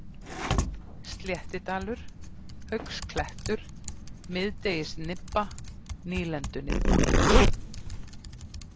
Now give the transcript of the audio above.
Sléttidalur, Haugsklettur, Miðdegisnibba, Nýlendunibba